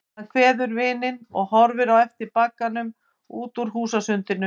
Hann kveður vininn og horfir á eftir bragganum út úr húsasundinu.